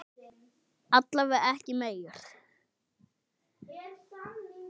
Alla vega ekki meir.